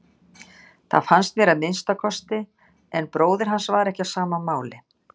Það fannst mér að minnsta kosti en bróðir hans var ekki á sama máli.